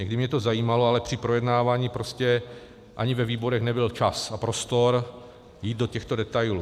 Někdy mě to zajímalo, ale při projednávání prostě ani ve výborech nebyl čas a prostor jít do těchto detailů.